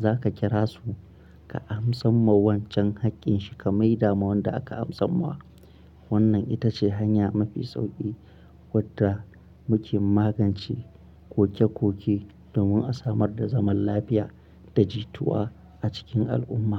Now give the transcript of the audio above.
za ka kira su ka amsa ma wancan haƙƙin shi ka maida ma wanda aka amsa ma. Wannan ita ce hanya mafi sauƙi wadda muke magance koke-koke domin a samar da zaman lafiya da jituwa a cikin al'umma.